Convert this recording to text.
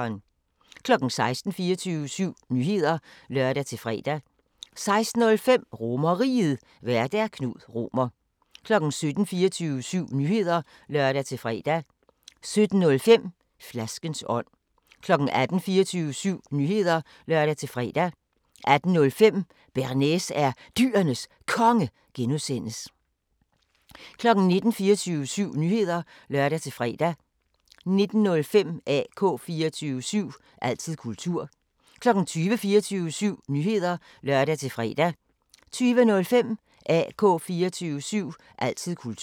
16:00: 24syv Nyheder (lør-fre) 16:05: RomerRiget, Vært: Knud Romer 17:00: 24syv Nyheder (lør-fre) 17:05: Flaskens ånd 18:00: 24syv Nyheder (lør-fre) 18:05: Bearnaise er Dyrenes Konge (G) 19:00: 24syv Nyheder (lør-fre) 19:05: AK 24syv – altid kultur 20:00: 24syv Nyheder (lør-fre) 20:05: AK 24syv – altid kultur